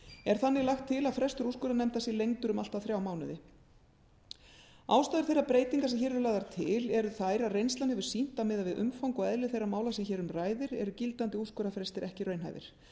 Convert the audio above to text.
er þannig lagt til að frestur úrskurðarnefndar sé lengdur um allt að þrjá mánuði ástæður þeirra breytinga sem hér eru lagðar til eru þær að reynslan hefur sýnt að miðað við umfang og eðli þeirra mála sem hér um ræðir eru gildandi úrskurðarfrestir ekki raunhæfir